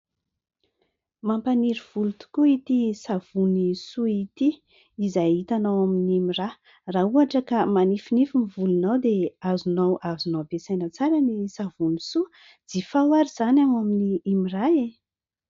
Mampaniry voly tokoa ity savony "SOA" ity izay hitanao ao amin'ny "MIRA" , raha ohatra ka manifinify ny volonao dia azonao azonao ampesaina tsara ny savony "SOA". Jifao ary izany ao amin'ny "MIRA" e!